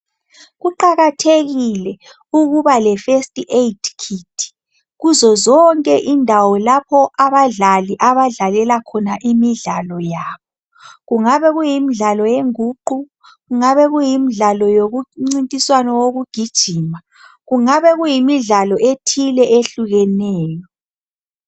Kuqakathekile ukuba lefirst aid kit kuzo zonke indawo lapho abadlali abadlalela khona imidlalo yabo. Kungabe kuyimidlalo yenguqu, kungabe kuyimidlalo yokuncintiswano wokugijima kungabe kuyimidlalo ethile ehlukeneyo.